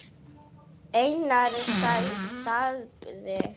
Einar þagði.